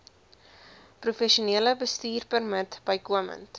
professionele bestuurpermit bykomend